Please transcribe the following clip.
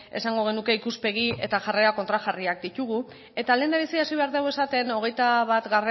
edo nahiko esango genuke ikuspegi eta jarrera kontrajarriak ditugu eta lehendabizi hasi behar dugu esaten hogeita bat